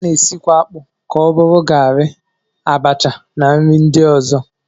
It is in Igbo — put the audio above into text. A na-esikwa akpụ ka ọ bụrụ garị, abacha na nri ndị ọzọ